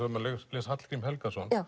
les Hallgrím Helgason